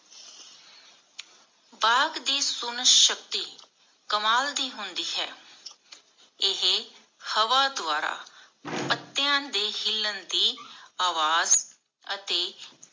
ਬਾਘ ਦੀ ਸੁਨਣ ਸ਼ਕਤੀ ਕਮਾਲ ਦੀ ਹੁੰਦੀ ਹੈ. ਏਹੇ ਹਵਾ ਦੁਆਰਾ ਪੱਤਿਆਂ ਦੇ ਹਿਲਣ ਦੀ ਆਵਾਜ਼ ਅਤੇ